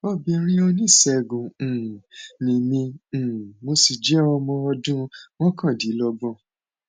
obìnrin oníṣègùn um ni mí um mo sì jẹ ọmọ ọdún mọkàndínlọgbọn